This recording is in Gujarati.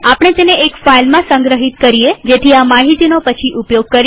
આપણે તેને એક ફાઈલમાં સંગ્રહિત કરીએજેથી આ માહિતીનો પછી ઉપયોગ કરી શકાય